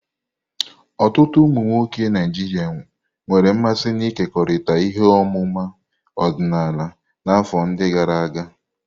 Ọtụtụ ụmụ nwoke Naijiria nwere mmasị n'ịkekọrịta ihe ọmụma ọdịnala n'afọ ndi gara aga.